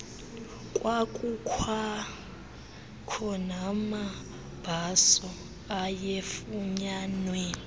kwakukwakho namabhaso ayefunyanwa